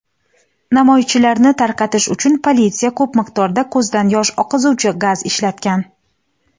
Namoyishchilarni tarqatish uchun politsiya ko‘p miqdorda ko‘zdan yosh oqizuvchi gaz ishlatgan.